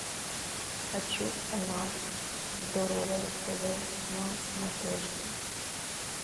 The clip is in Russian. хочу канал здоровое тв на смотрешке